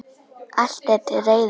Allt er til reiðu.